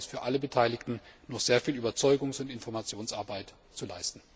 Ich glaube, da ist von allen Beteiligten noch sehr viel Überzeugungs und Informationsarbeit zu leisten.